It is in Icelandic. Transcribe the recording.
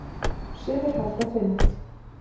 Sumir halda fund.